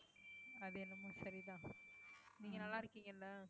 அது என்னமோ சரிதான் நீங்க நல்லா இருக்கீங்கல்ல